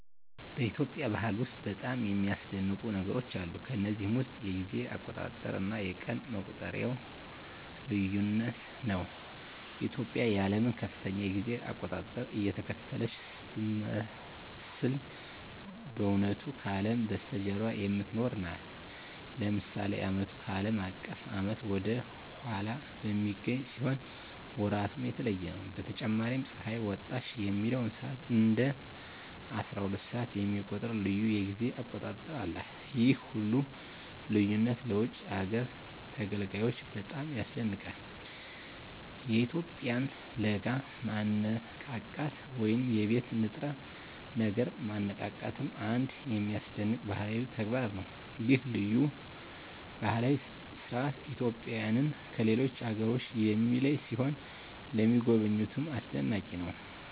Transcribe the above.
በኢትዮጵያ ባህል ውስጥ በጣም የሚያስደንቁ ነገሮች አሉ። ከነዚህም ውስጥ የጊዜ አቆጣጠር እና የቀን መቁጠሪያው ልዩነት ነው። ኢትዮጵያ የዓለምን ከፍተኛ የጊዜ አቆጣጠር እየተከተለች ስትመስል በእውነቱ ከአለም በስተጀርባ የምትኖር ናት። ለምሳሌ ዓመቱ ከአለም አቀፍ ዓመት ወደ ኋላ በሚገኝ ሲሆን ወራቱም የተለየ ነው። በተጨማሪም ፀሐይ ወጣች የሚለውን ሰዓት እንደ አስራሁለት ሰዓት የሚቆጥር ልዩ የጊዜ አቆጣጠር አላት። ይህ ሁሉ ልዩነት ለውጭ አገር ተጋዳላዮች በጣም ያስደንቃል። የኢትዮጵያውያን ለጋ ማነቃቃት ወይም የቤት ንጥረ ነገር ማነቃቃትም አንድ የሚያስደንቅ ባህላዊ ተግባር ነው። ይህ ልዩ ባህላዊ ሥርዓት ኢትዮጵያውያንን ከሌሎች አገሮች የሚለይ ሲሆን ለሚጎበኙትም አስደናቂ ነው።